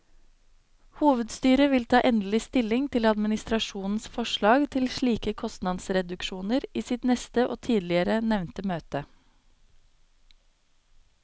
Hovedstyret vil ta endelig stilling til administrasjonens forslag til slike kostnadsreduksjoner i sitt neste og tidligere nevnte møte.